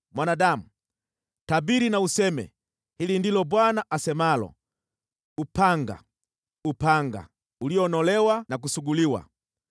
“Mwanadamu, tabiri na useme, ‘Hili ndilo Bwana asemalo: “ ‘Upanga, upanga, ulionolewa na kusuguliwa: